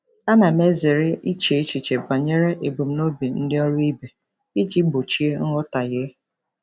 Ana m ezere iche echiche banyere ebumnobi ndị ọrụ ibe iji gbochie nghọtahie.